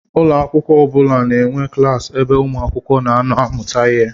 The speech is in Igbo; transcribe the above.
Ụlọakwụkwọ ọbula na-enwe klassi ebe umuakwukwo na-ano amụta ihe.